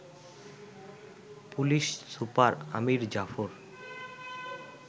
police super Amir Zafar